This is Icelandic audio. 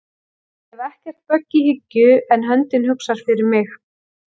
Ég hef ekkert bögg í hyggju en höndin hugsar fyrir mig